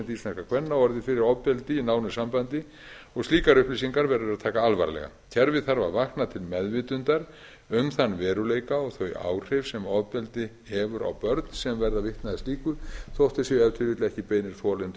íslenskra kvenna orðið fyrir ofbeldi í nánu sambandi og slíkar upplýsingar verður að taka alvarlega kerfið þarf að vakna til meðvitundar um þann veruleika og þau áhrif sem ofbeldi hefur á börn sem verða vitni að slíku þótt þau séu ef til vill ekki beinir þolendur